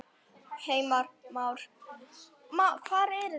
Heimir Már: Hver er það?